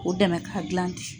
O dɛmɛn k'a gilan ten.